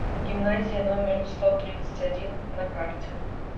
гимназия номер сто тридцать один на карте